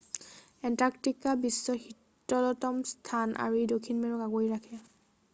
Antarctica বিশ্বৰ শীতলতম স্থান আৰু ই দক্ষিণ মেৰুক আগুৰি ৰাখে